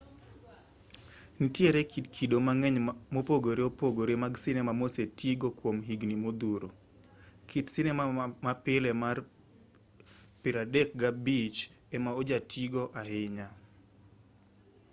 nitiere kido mang'eny mopogore opogore mag sinema mosetigo kwom higni modhuro. kit sinema ma pile mar 35mm negativ 36 di 24 mm ema ojatigo ahinya